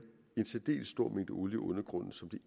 en særdeles stor mængde olie i undergrunden som det